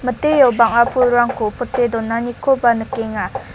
miteo bang·a pulrangko pote donanikoba nikenga.